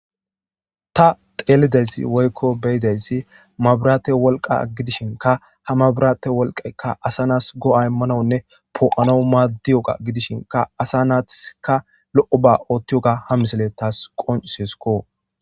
Ta teelidayssi woykko beyidayssi mabirate wolqa gidishinka ha mabirate wolqekka asa naas go7a immanawunne poo7ano maaddiyoga gidishinka asa naatika lo7o ba oottiyoga ha misele taas qoncuseskko.